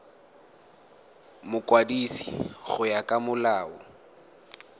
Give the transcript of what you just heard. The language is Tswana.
mokwadisi go ya ka molao